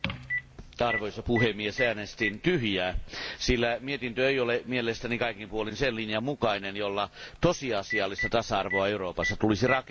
Arvoisa puhemies, äänestin tyhjää, sillä mietintö ei ole mielestäni kaikin puolin sen linjan mukainen, jolla tosiasiallista tasa arvoa Euroopassa tulisi rakentaa.